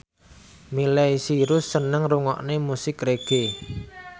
Miley Cyrus seneng ngrungokne musik reggae